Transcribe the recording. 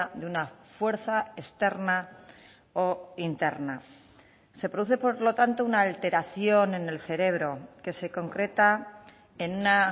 de una fuerza externa o interna se produce por lo tanto una alteración en el cerebro que se concreta en una